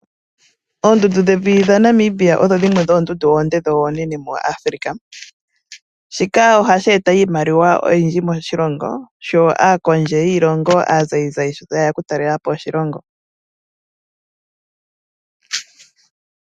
Oondundu dhevi dha Namibia odho dhimwe dhoondundu oonde dho oonene mo Afrika. Shika ohashi eta iimaliwa oyindji moshilongo sho aakondje yiilongo aazayizayi tayeya oku ta lelapo oshilongo.